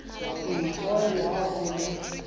npo le ha ho le